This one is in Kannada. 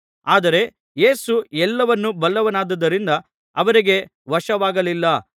ಆದರೆ ಯೇಸು ಎಲ್ಲವನ್ನೂ ಬಲ್ಲವನಾದುದರಿಂದ ಅವರಿಗೆ ವಶವಾಗಲಿಲ್ಲ